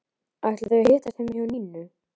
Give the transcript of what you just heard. Ætla þau að hittast heima hjá Nínu?